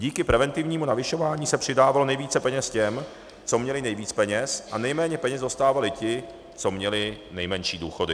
Díky preventivnímu navyšování se přidávalo nejvíce peněz těm, co měli nejvíc peněz, a nejméně peněz dostávali ti, co měli nejmenší důchody.